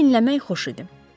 Sizi dinləmək xoş idi.